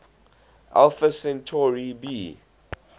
alpha centauri b